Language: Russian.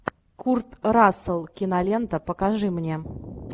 курт рассел кинолента покажи мне